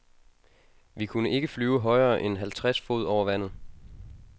Vi kunne ikke flyve højere end halvtreds fod over vandet.